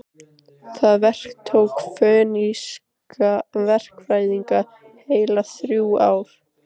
Það verk tók fönikíska verkfræðinga heil þrjú ár.